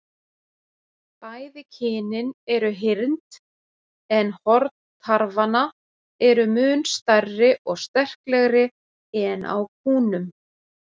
Bæði kynin eru hyrnd, en horn tarfanna eru mun stærri og sterklegri en á kúnum.